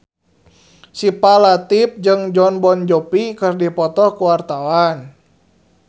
Syifa Latief jeung Jon Bon Jovi keur dipoto ku wartawan